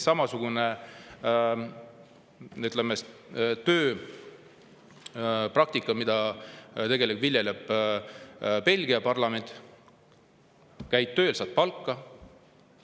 Samasugust tööpraktikat viljeleb ka Belgia parlament: käid tööl, saad ka palka.